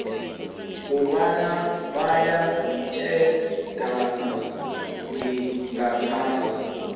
kobana bayatjhadana ngaphasi